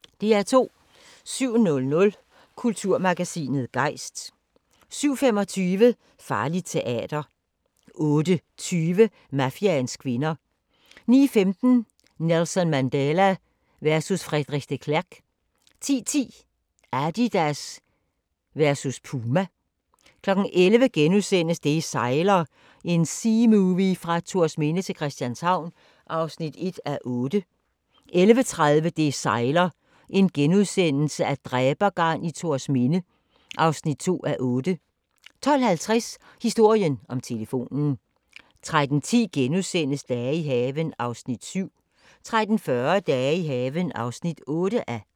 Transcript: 07:00: Kulturmagasinet Gejst 07:25: Farligt teater 08:20: Mafiaens kvinder 09:15: Nelson Mandela versus Frederik de Klerk 10:10: Adidas versus Puma 11:00: Det sejler – en seamovie fra Thorsminde til Christianshavn (1:8)* 11:30: Det sejler - dræbergarn i Thorsminde (2:8)* 12:50: Historien om telefonen 13:10: Dage i haven (7:12)* 13:40: Dage i haven (8:12)